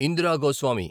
Indira Goswami